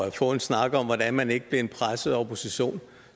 og få en snak om hvordan man ikke blev en presset opposition